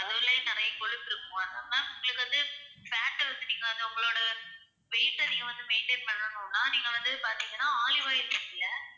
அதுலேயே நிறைய கொழுப்பு இருக்கும், அதனால அது தான் உங்களுக்கு வந்து fat அ நீங்க வந்து உங்களோட weight அ நீங்க maintain பண்ணனும்னா நீங்க வந்து பாத்தீங்கன்னா olive oil use பண்ணுங்க